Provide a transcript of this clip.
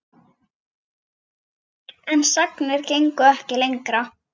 En sagnir gengu ekki lengra.